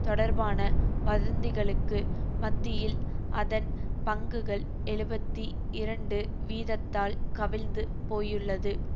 தொடர்பான வதந்திகளுக்கு மத்தியில் அதன் பங்குகள் எழுபத்தி இரண்டு வீதத்தால் கவிழ்ந்து போயுள்ளது